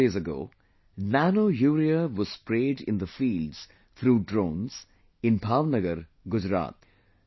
Like a few days ago, nanourea was sprayed in the fields through drones in Bhavnagar, Gujarat